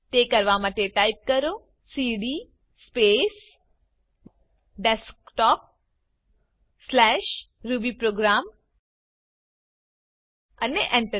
તે કરવા માટે ટાઇપ કરો સીડી સ્પેસ desktopરૂબીપ્રોગ્રામ અને Enter